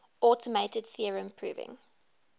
automated theorem proving